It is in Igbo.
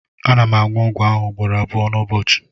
ana m aṅụ ọgwụ ahụ ugboro abụọ n'ụbọchị